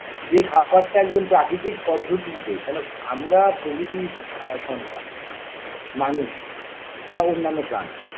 যে খাবারটা একদম প্রাকৃতিক পদ্ধতিতে কেন আমরা প্রকৃতির আ সন্তান মানুষ বা অন্যান্য প্রাণী